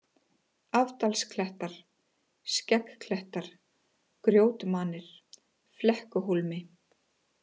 Afdalsklettar, Skeggklettar, Grjótmanir, Flekkuhólmi